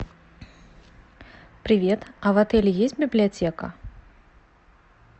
привет а в отеле есть библиотека